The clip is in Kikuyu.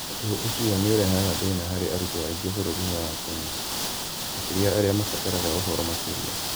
Ũndũ ũcio nĩ ũrehaga thĩna harĩ arutwo aingĩ bũrũri-inĩ wa Kenya, makĩria arĩa mabataraga ũhoro makĩria.